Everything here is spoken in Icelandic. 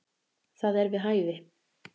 Það er við hæfi.